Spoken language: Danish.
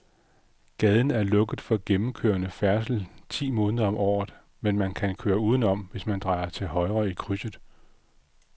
Gaden er lukket for gennemgående færdsel ti måneder om året, men man kan køre udenom, hvis man drejer til højre i krydset.